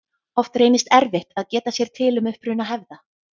Oft reynist erfitt að geta sér til um uppruna hefða.